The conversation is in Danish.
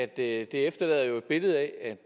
det efterlader jo et billede af at